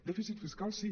dèficit fiscal sí